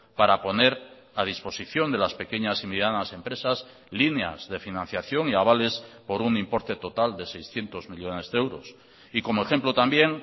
para poner a disposición de las pequeñas y medianas empresas líneas de financiación y avales por un importe total de seiscientos millónes de euros y como ejemplo también